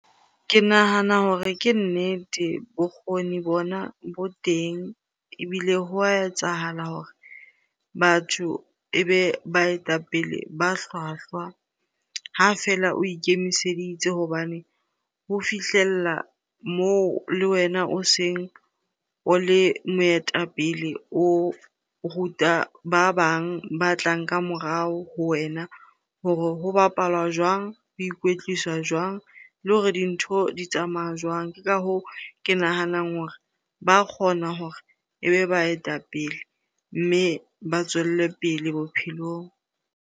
Ke nahana hore ke nnete bokgoni bona bo teng ebile ho a etsahala hore batho e be baetapele ba hlwahlwa ha fela o ikemiseditse. Hobane ho fihlella moo le wena o seng o le moetapele, o ruta ba bang ba tlang ka morao ho wena hore ho bapala jwang? Ho ikwetlisa jwang? Le hore dintho di tsamaya jwang? Ke ka hoo, ke nahanang hore ba kgona hore ebe baetapele mme ba tswelle pele bophelong.